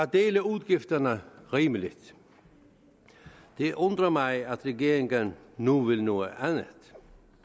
dele udgifterne rimeligt det undrer mig at regeringen nu vil noget andet